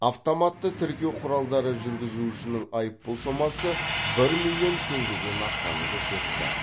автоматты тіркеу құралдары жүргізушінің айыппұл сомасы бір миллион теңгеден асқанын көрсетті